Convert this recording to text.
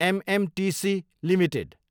MMTC Ltd